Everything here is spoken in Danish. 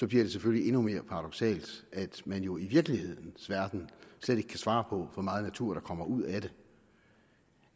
det selvfølgelig endnu mere paradoksalt at man jo i virkelighedens verden slet ikke kan svare på hvor meget natur der kommer ud af det